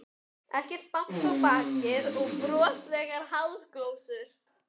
Ekkert bank á bakið og broslegar háðsglósur.